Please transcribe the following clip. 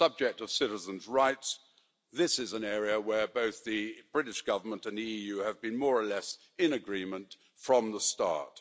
On the subject of citizens' rights, this is an area where both the British Government and the EU have been more or less in agreement from the start.